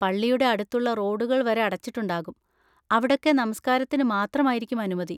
പള്ളിയുടെ അടുത്തുള്ള റോഡുകൾ വരെ അടച്ചിട്ടുണ്ടാകും, അവിടൊക്കെ നമസ്കാരത്തിന് മാത്രമായിരിക്കും അനുമതി.